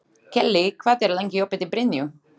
Kellý, hvað er lengi opið í Brynju?